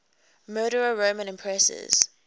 murdered roman empresses